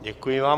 Děkuji vám.